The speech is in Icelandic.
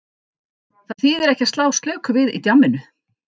Það þýðir ekki að slá slöku við í djamminu.